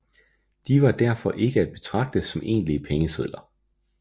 De var derfor ikke at betragte som egentlige pengesedler